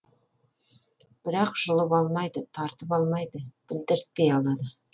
бірақ жұлып алмайды тартып алмайды білдіртпей алады